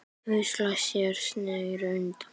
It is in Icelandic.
Og það gerum við.